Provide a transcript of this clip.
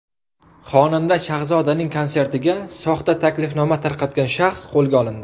Xonanda Shahzodaning konsertiga soxta taklifnoma tarqatgan shaxs qo‘lga olindi.